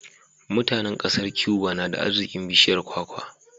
Mutanan ƙasar Cuba nada arzikin bishiyar kwakwa